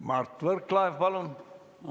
Mart Võrklaev, palun!